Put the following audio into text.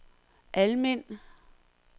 Almind